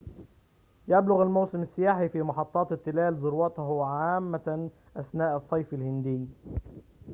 يبلغ موسم السياحة في محطات التلال ذروته عامةً أثناء الصيف الهندي